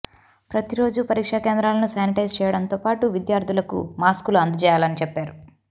ప్రతి రోజూ పరీక్షా కేంద్రాలను శానిటైజ్ చేయడంతో పాటు విద్యార్థులకు మాస్కులు అందజేయాలని చెప్పారు